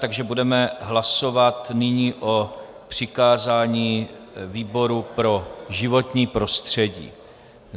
Takže budeme hlasovat nyní o přikázání výboru pro životní prostředí.